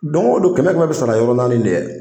Don o don kɛmɛ kɛmɛ bɛ sara yɔrɔ naani ne.